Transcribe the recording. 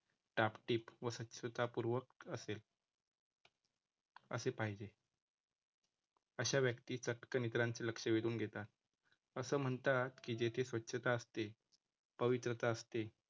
टापटीप व स्वच्छता पूर्वक असेल, असे पाहिजे, अशा व्यक्ती चटकन इतरांचे लक्ष वेधून घेतात. असं म्हणतात की, जेथे स्वच्छता असते, पवित्रता असते